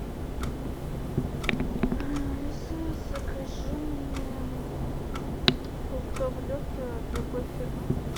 алиса закажи мне фруктовый лед от любой фирмы